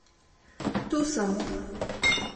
Tu sem!